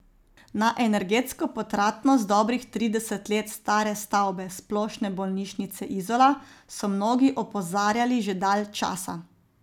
Na energetsko potratnost dobrih trideset let stare stavbe Splošne bolnišnice Izola so mnogi opozarjali že dalj časa.